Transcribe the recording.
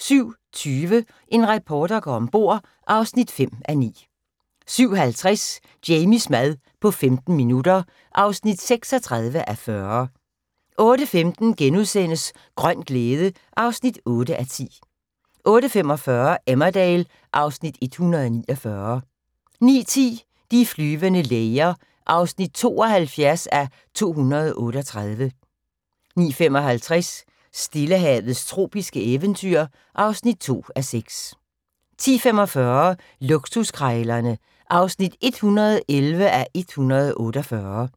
07:20: En reporter går om bord (5:9) 07:50: Jamies mad på 15 minutter (36:40) 08:15: Grøn glæde (8:10)* 08:45: Emmerdale (Afs. 149) 09:10: De flyvende læger (72:238) 09:55: Stillehavets tropiske eventyr (2:6) 10:45: Luksuskrejlerne (111:148)